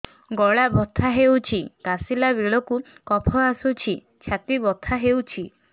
ଗଳା ବଥା ହେଊଛି କାଶିଲା ବେଳକୁ କଫ ଆସୁଛି ଛାତି ବଥା ହେଉଛି